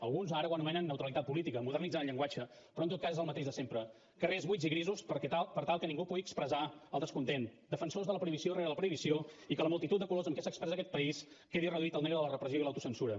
alguns ara ho anomenen neutralitat política modernitzen el llenguatge però en tot cas és el mateix de sempre carrers buits i grisos per tal que ningú pugui expressar el descontent defensors de la prohibició rere la prohibició i que la multitud de colors amb què s’expressa aquest país quedi reduït al negre de la repressió i l’autocensura